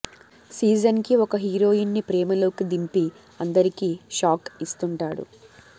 season కి ఒక heroine ని ప్రేమలోకి దింపి అందరికి షాక్ ఇస్తుంటాడు